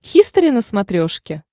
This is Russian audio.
хистори на смотрешке